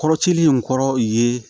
Kɔrɔcilen in kɔrɔ ye